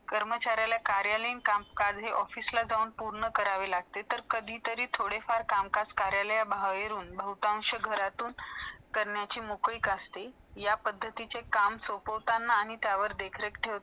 कर्मचारिणला कार्यलीन काम , कार्य ऑफिसला जाऊन पुरणे करावे लागते ते कधी तरी थोडे फार काम काज कार्यले हवे बहेरून , भोंताशीन घरातून करयाचे मोखळीक असते या सरखे काम सोपोतना आणि देख रिख ठेवताना